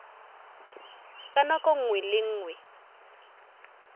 ka nako nngwe le nngwe